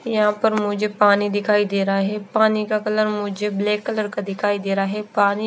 यहाँ पर मुझे पानी दिखाई दे रहा है पानी का कलर मुझे ब्लैक कलर का दिखाई दे रहा है पानी--